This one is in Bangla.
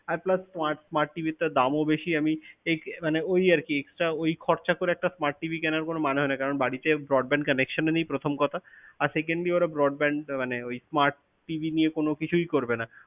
আর plus smart~smart TV টার দাম ও বেশি আমি আহ মানে ওই আরকি extra ওই খরচা করে smart TV কেনার কোনও মানে হয় না কারণ বাড়িতে broadband connection ও নেই প্রথম কথা। আর secondly ওরা broadband মানে ওই smart TV নিয়ে কোনো কিছুই করবে না।